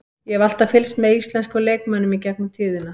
Ég hef alltaf fylgst með íslenskum leikmönnum í gegnum tíðina.